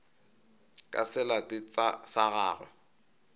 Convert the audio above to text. ka se late sa gagwe